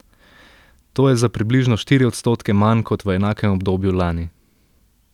To je za približno štiri odstotke manj kot v enakem obdobju lani.